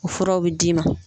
O furaw bɛ d'i ma.